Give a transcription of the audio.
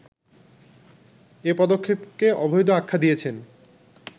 এ পদক্ষেপকে ‘অবৈধ’ আখ্যা দিয়েছেন